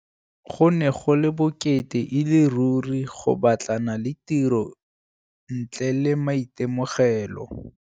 Go ne go le bokete e le ruri go batlana le tiro ntle le maitemogelo.